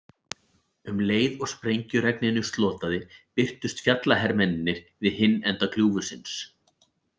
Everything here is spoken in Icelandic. Um leið og sprengjuregninu slotaði birtust fjallahermennirnir við hinn enda gljúfursins.